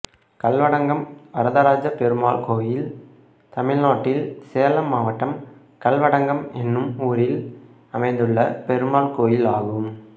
கல்வடங்கம் வரதராஜ பெருமாள் கோயில் தமிழ்நாட்டில் சேலம் மாவட்டம் கல்வடங்கம் என்னும் ஊரில் அமைந்துள்ள பெருமாள் கோயிலாகும்